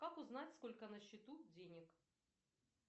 как узнать сколько на счету денег